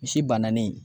Misi bananen